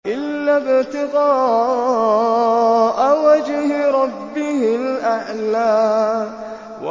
إِلَّا ابْتِغَاءَ وَجْهِ رَبِّهِ الْأَعْلَىٰ